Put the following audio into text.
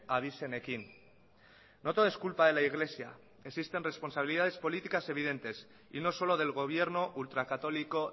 abizenekin no todo es culpa de la iglesia existen responsabilidades políticas evidentes y no solo del gobierno ultra católico